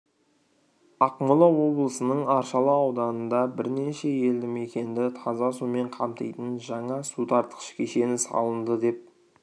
ақмола облысының аршалы ауданында бірнеше елді мекенді таза сумен қамтитын жаңа су тартқыш кешені салынды деп